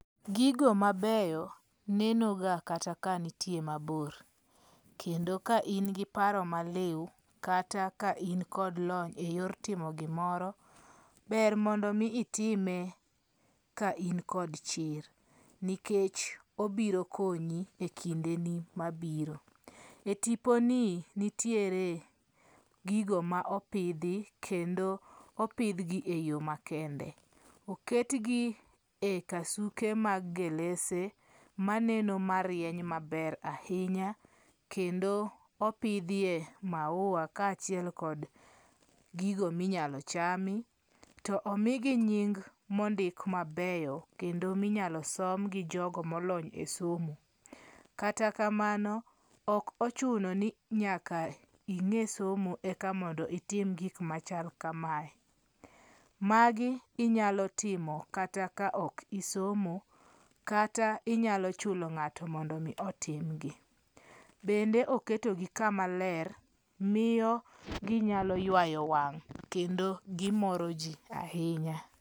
Gigo mabeyo, nenoga kata ka nitie mabor, kendo ka in gi paro maliu kata ka in kod lony e yor timo gimoro, ber mondi mi itime ka in kod chir, nikech obiro konyi e kindeni mabiro, e tiponi nitiere gigo ma opithi kendo opithgi e yo makende, oketgi e kasuke mag gelese maneno marieny maber ahinya, kendo mopithie maua kaa chiel kod gigo minyalo chami, to omigi nying' mondik mabeyo, kendo minyalo som gi jogo molony e somo, kata kamano, okochuni ni nyaka inge' somo eka mondo itim gik machal kamae, magi inyalo timo kata ka ok isomo kata inyalo chulo nga'to mondo mi otimgi, bende oketgi kamaler miyo ginyalo ywayo wang' kendo gimoro ji ahinya